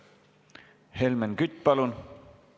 Helmen Kütt, palun!